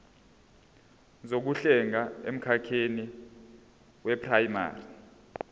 zokuhlenga emkhakheni weprayimari